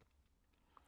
DR2